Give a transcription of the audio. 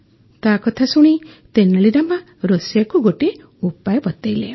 ତା କଥା ଶୁଣି ତେନାଲି ରାମା ରୋଷେଇୟାକୁ ଗୋଟିଏ ଉପାୟ ବତାଇଲେ